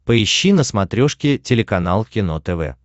поищи на смотрешке телеканал кино тв